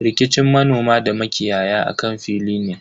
Rikicin manoma da makiyaya akan fili ne.